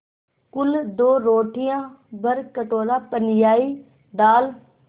कुल दो रोटियाँ भरकटोरा पनियाई दाल